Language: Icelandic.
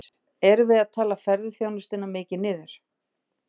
Magnús: Erum við að tala ferðaþjónustuna mikið niður?